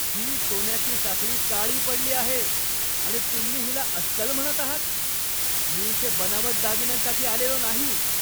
ही सोन्याची साखळी काळी पडली आहे आणि तुम्ही हिला अस्सल म्हणत आहात? मी इथे बनावट दागिन्यांसाठी आलेलो नाही!